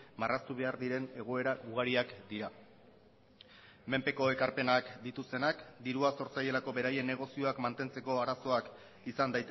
marraztu behar diren egoera ugariak dira menpeko ekarpenak dituztenak dirua zor zaielako beraien negozioak mantentzeko arazoak izan